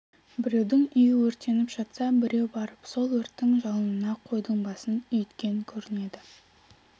біреудің үйі өртеніп жатса біреу барып сол өрттің жалынына қойдың басын үйткен көрінеді